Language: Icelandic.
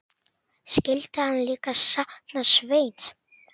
Skyldi hann líka sakna Sveins?